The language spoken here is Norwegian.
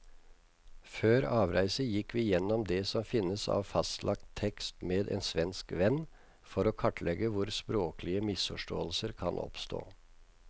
Før avreise gikk vi gjennom det som finnes av fastlagt tekst med en svensk venn, for å kartlegge hvor språklige misforståelser kan oppstå.